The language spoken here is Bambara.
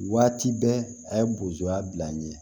Waati bɛɛ a ye bozoya bila n ye